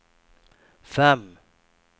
fem